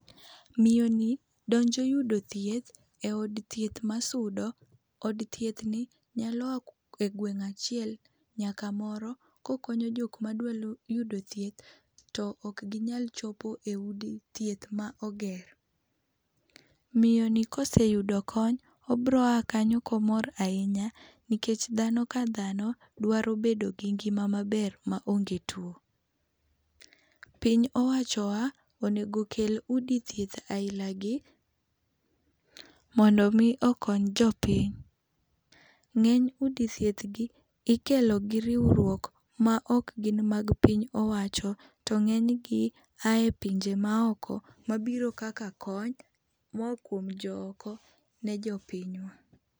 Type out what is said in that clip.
Miyo ni donjo yudo thieth e od thieth ma sudo ,od thieth ni nyalo ya e gweng achiel nyaka moro ko okonyo jok ma dwa yudo thieth to ok gi nyal chopo e od thieth ma oger .Miyo ni ka oseyudo kony obiro a kanyo ka omor ahinya nikech dhano ka dhano dwaro bedo gi ngima maber ma onge two. Piny owacho wa onego kel udi thieth aina gi mondo mi okony jopiny, ng'eny udi thieth gi ikelo gi riwruok ma ok gin mar piny owacho to ng'eny gi ya pinje ma oko ma biro kaka kony moa kuom jo oko ne jopiny wa.